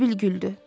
Sibil güldü.